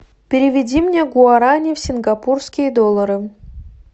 переведи мне гуарани в сингапурские доллары